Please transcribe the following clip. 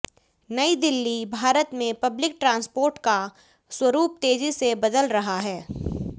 नई दिल्लीः भारत में public transport का स्वरूप तेजी से बदल रहा है